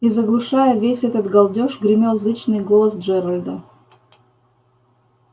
и заглушая весь этот галдёж гремел зычный голос джералда